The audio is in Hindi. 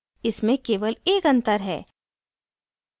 इसमें केवल एक अंतर है